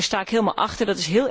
Daar sta ik helemaal achter.